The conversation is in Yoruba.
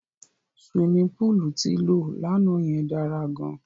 Siwimi póòlù tí lọ lánàá yẹn dára gan.